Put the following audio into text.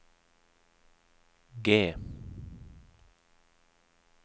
G